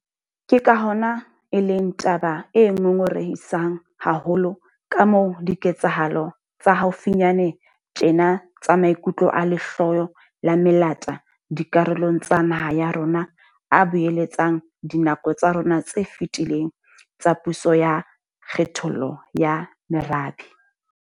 Ke ka hona e leng taba e ngongorehisang haholo kamoo diketsahalo tsa haufinyane tjena tsa maikutlo a lehloyo la melata dikarolong tsa naha ya rona a boeletsang dinako tsa rona tse fetileng tsa puso ya kgethollo ya merabe.